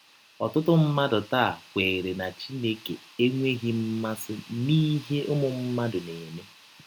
Ọtụtụ mmadụ taa kweere na Chineke enweghị mmasị n’ihe ụmụ mmadụ na - eme.